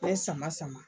N bɛ sama sama